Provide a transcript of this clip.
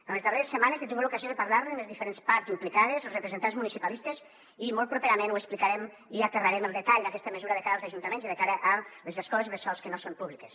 en les darreres setmanes he tingut l’ocasió de parlar ne amb les diferents parts implicades els representants municipalistes i molt properament ho explicarem i aterrarem el detall d’aquesta mesura de cara als ajuntaments i de cara a les escoles bressols que no són públiques